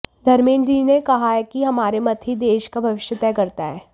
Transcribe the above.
धमेंद्र जी ने कहा कि हमारा मत ही देश का भविष्य तय करता है